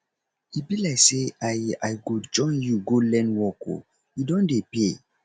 e be like say i i go join you go learn work oo e don dey pay